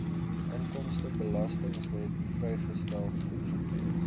inkomstebelastingwet vrystelling goedgekeur